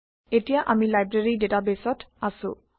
এতিয়া আমি লাইব্ৰেৰী ডেটাবেইছত আছো